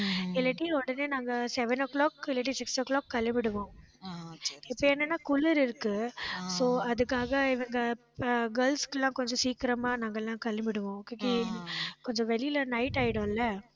இல்லாட்டி உடனே நாங்க, seven o'clock இல்லாட்டி six o'clock கிளம்பிடுவோம் இப்ப என்னன்னா குளிர் இருக்கு. so அதுக்காக இவங்க அஹ் இப்ப girls க்கு எல்லாம் கொஞ்சம் சீக்கிரமா நாங்கெல்லாம் கிளம்பிடுவோம். okay கொஞ்சம் வெளியில night ஆயிடும் இல்ல